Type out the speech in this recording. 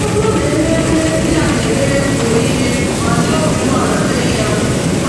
Ọbụrụ na eme emume ndị a na-eme mgbe niile ma jiri obi umeala mee ya,